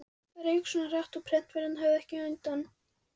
Það rauk út svo hratt, að prentvélarnar höfðu ekki undan.